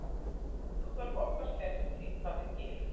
dagleg orkuþörf okkar fer eftir því hvað við gerum